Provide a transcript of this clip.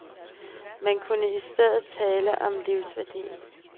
Man kunne i stedet tale om livsværdien.